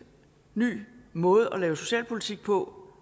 ny måde at lave socialpolitik på